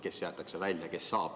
Kes jäetakse välja?